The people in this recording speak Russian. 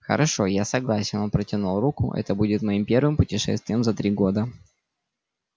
хорошо я согласен он протянул руку это будет моим первым путешествием за три года